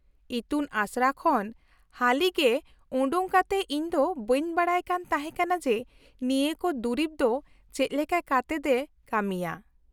-ᱤᱛᱩᱱ ᱟᱥᱲᱟ ᱠᱷᱚᱱ ᱦᱟᱹᱞᱤᱜᱮ ᱚᱰᱚᱠ ᱠᱟᱛᱮ ᱤᱧ ᱫᱚ ᱵᱟᱹᱧ ᱵᱟᱰᱟᱭ ᱠᱟᱱ ᱛᱟᱦᱮᱸ ᱠᱟᱱᱟ ᱡᱮ ᱱᱤᱭᱟᱹ ᱠᱚ ᱫᱩᱨᱤᱵ ᱫᱚ ᱪᱮᱫ ᱞᱮᱠᱟ ᱠᱟᱛᱮᱫ ᱮᱹ ᱠᱟᱹᱢᱤᱭᱟ ᱾